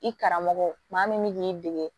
I karamɔgɔ maa min bɛ k'i dege